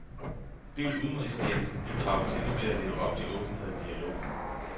Det vil udenrigstjenesten bidrage til ved at leve op til åbenhed og dialog.